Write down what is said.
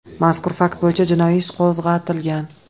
Mazkur fakt bo‘yicha jinoiy ish qo‘zg‘atilgan.